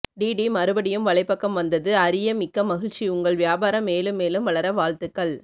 D டி மறுபடியும் வலைப்பக்கம் வந்தது அறிய மிக்க மகிழ்ச்சி உங்கள் வியாபாரம் மேலும் மேலும் வளர வாழ்த்துக்கள்